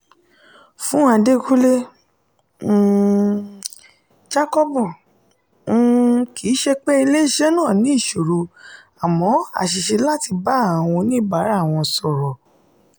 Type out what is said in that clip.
fún adékunle um jákọ́bù um kì í ṣe pé ilé iṣẹ́ náà ní ìṣòro amọ́ àṣìṣe láti bá àwọn oníbàárà wọn sọ̀rọ̀